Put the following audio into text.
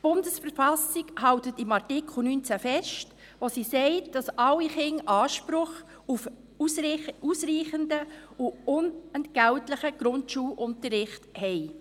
Die Bundesverfassung der Schweizerischen Eidgenossenschaft (BV) hält in Artikel 19 fest, dass alle Kinder Anspruch auf ausreichenden und unentgeltlichen Grundschulunterricht haben.